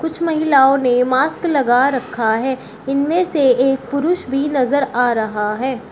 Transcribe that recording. कुछ महिलाओं ने मास्क लगा रखा है इनमें से एक पुरुष भी नजर आ रहा है।